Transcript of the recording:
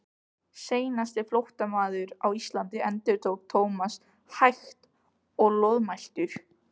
Seinasti flóttamaður á Íslandi endurtók Thomas hægt og loðmæltur.